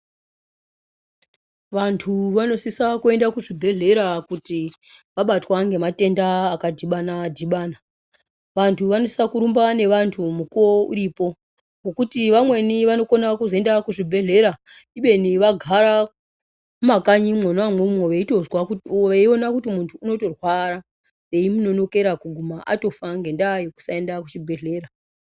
Vanthu vanosisa kuenda kuzvibhedhlera kuti vabatwa ngematenda akadhibanadhibana. Vanthu vanosisa kurumba nevanthu mukuwo uripo, ngokuti vamweni vanokona kuzoenda kuzvibhedhlera ibeni vagara mumakanyi mwona imwomwo veitozwa veiona kuti munthu unotorwara eyimunonokera kuguma atofa ngendaa yekusaenda kuchibhedhlera.